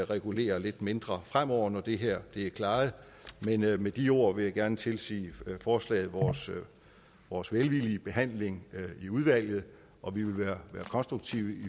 regulere lidt mindre fremover når det her er klaret med med de ord vil jeg gerne tilsige forslaget vores velvillige behandling i udvalget og vi vil være konstruktive